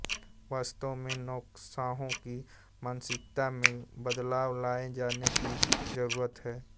वास्तव में नौकरशाहों की मानसिकता में बदलाव लाए जाने की जरूरत है